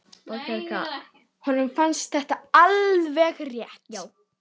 Honum fannst þetta alveg rétt.